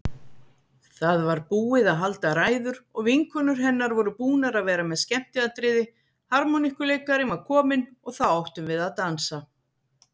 Það var búið að halda ræður og vinkonur hennar voru búnar að vera með skemmtiatriði, harmonikkuleikarinn var kominn og þá áttum við að dansa.